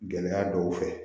Gɛlɛya dɔw fɛ